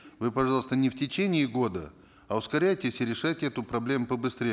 вы пожалуйста не в течение года а ускоряйтесь и решайте эту проблему побыстрее